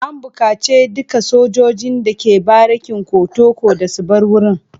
An bukaci dukkan sojojin da ke barikin kotoco da su bar wurin.